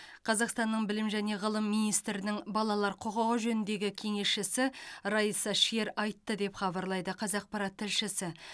қазақстанның білім және ғылым министрінің балалар құқығы жөніндегі кеңесшісі райса шер айтты деп хабарлайды қазақпарат тілшісі